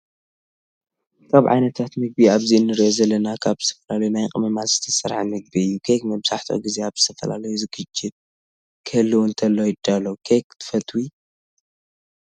ካብ ዓይነታት ምግቢ ኣብዚ እንሪኦ ዘለና ካብ ዝተፈላለዩ ናይ ቅመማት ዝተሰርሐ ምግቢ እዩ። ኬክ መብዛሕቲኡ ግዜ ኣብ ዝተፈላለዩ ስግጅት ክህልው እንተሎ ይዳሎ። ኬክ ትፈትዊ/ው ?